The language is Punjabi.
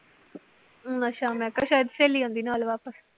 ਅੱਛਾ ਮੈ ਕਿਹਾ ਸ਼ਾਇਦ ਸਹੇਲੀ ਆਉਂਦੀ ਨਾਲ ਵਾਪਿਸ।